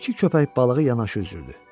İki köpək balığı yanaşı üzürdü.